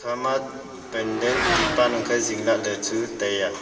ama pandan tipan ang khe jing lahley chu tai a.